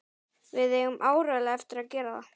Við eigum áreiðanlega eftir að gera það.